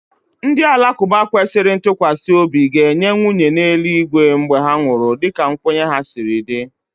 Ndị Alakụba kwesịrị ntụkwasị obi ga-enye nwunye n'eluigwe mgbe ha nwụrụ dịka nkwenye ha siri dị